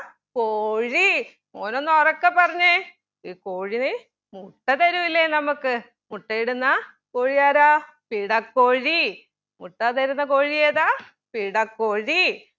കോഴി മോനൊന്ന് ഉറക്കെ പറഞ്ഞെ ഈ കോഴി മുട്ട തരൂലെ നമുക്ക് മുട്ടയിടുന്ന കോഴി ആരാ പിടക്കോഴി മുട്ട തരുന്ന കോഴി ഏതാ പിടക്കോഴി